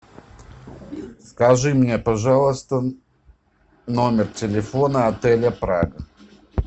скажи мне пожалуйста номер телефона отеля прага